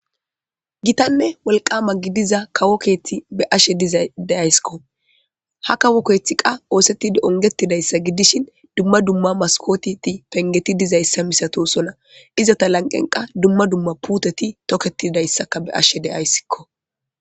Gittanne woliqama gidiza kawo keethi be ashe dizadeyayskko ha kawokeethi qa oosetti ongetidayssa gidishin dumma dumma maskotiti pengeti dizayssa misato sona izata lanqenqa dumma dumma puuteti toketidayssaka be ashe deyayssikko